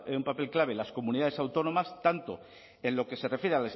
un papel clave en las comunidades autónomas tanto en lo que se refiere